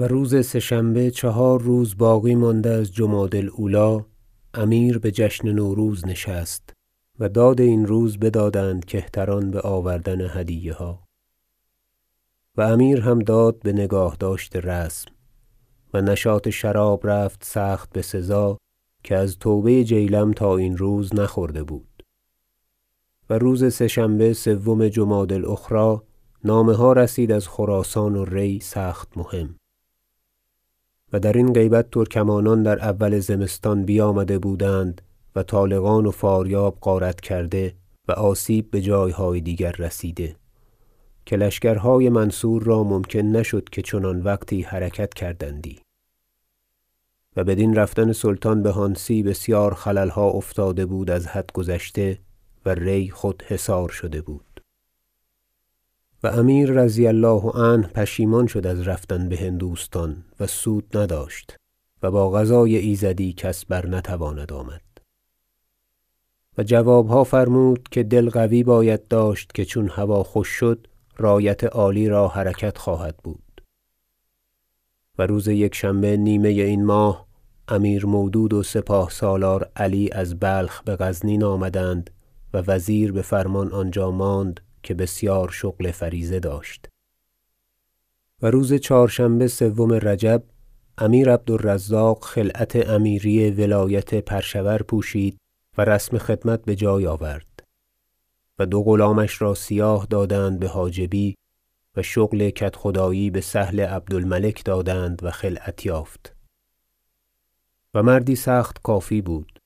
و روز سه شنبه چهار روز باقی مانده از جمادی الاولی امیر بجشن نوروز نشست و داد این روز بدادند کهتران بآوردن هدیه ها و امیر هم داد بنگاهداشت رسم و نشاط شراب رفت سخت بسزا که از توبه جیلم تا این روز نخورده بود و روز سه شنبه سوم جمادی الاخری نامه ها رسید از خراسان و ری سخت مهم و درین غیبت ترکمانان در اول زمستان بیامده بودند و طالقان و فاریاب غارت کرده و آسیب بجایهای دیگر رسیده که لشکرهای منصور را ممکن نشد که چنان وقتی حرکت کردندی و بدین رفتن سلطان به هانسی بسیار خللها افتاده بود از حد گذشته و ری خود حصار شده بود و امیر رضی الله عنه پشیمان شد از رفتن بهندوستان و سود نداشت و با قضای ایزدی کس برنتواند آمد و جوابها فرمود که دل قوی باید داشت که چون هوا خوش شد رایت عالی را حرکت خواهد بود و روز یکشنبه نیمه این ماه امیر مودود و سپاه سالار علی از بلخ بغزنین آمدند و وزیر بفرمان آنجا ماند که بسیار شغل فریضه داشت و روز چهارشنبه سوم رجب امیر عبد الرزاق خلعت امیری ولایت پرشور پوشید و رسم خدمت بجای آورد و دو غلامش را سیاه دادند بحاجبی و شغل کدخدایی بسهل عبد الملک دادند و خلعت یافت و مردی سخت کافی بود